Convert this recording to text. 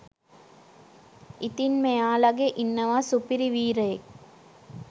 ඉතින් මෙයාලගේ ඉන්නවා සුපිරි වීරයෙක්